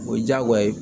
O ye diyagoya ye